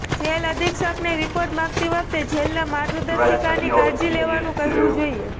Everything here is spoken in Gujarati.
જેલ અધિક્ષકને રિપોર્ટ માંગતી વખતે જેલના માર્ગદર્શિકાની કાળજી લેવાનું કહેવું જોઈએ